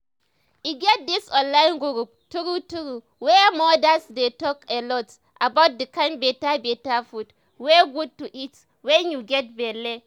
e get this online group true true where modas they talk alot about the kind better better food wey good to eat when you get belle